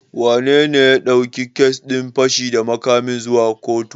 Wanene ya ɗauki kes din fashi da makamin zuwa kotu?